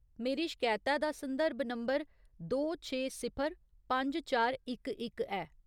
मेरी शकैता दा संदर्भ नंबर दो छे सिफर पंज चार इक इक ऐ।